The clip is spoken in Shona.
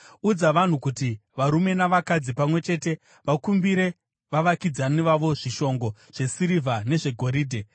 Udza vanhu kuti varume navakadzi, pamwe chete, vakumbire vavakidzani vavo zvishongo zvesirivha nezvegoridhe.”